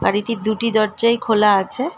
গাড়িটির দুটি দরজায় খোলা আছে ।